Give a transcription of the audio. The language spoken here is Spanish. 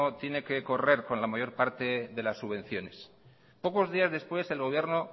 tiene que correr con la mayor parte de las subvenciones pocos días después el gobierno